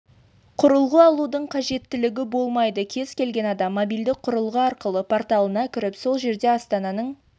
құрылғы алудың қажеттілігі болмайды кез келген адам мобильдік құрылғы арқылы порталына кіріп сол жерде астананың